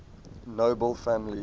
nobel family